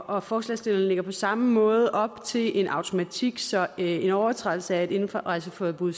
og forslagsstillerne lægger på samme måde op til en automatik sådan at en overtrædelse af et indrejseforbud